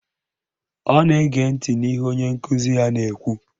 Ọ na-ege ntị n'ihe onye nkụzi ya na-ekwu